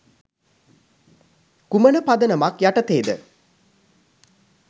කුමන පදනමක් යටතේද?